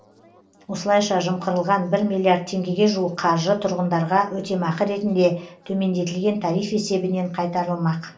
осылайша жымқырылған бір миллиард теңгеге жуық қаржы тұрғындарға өтемақы ретінде төмендетілген тариф есебінен қайтарылмақ